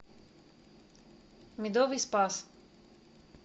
медовый спас